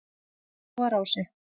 Skógarási